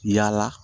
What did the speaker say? Yala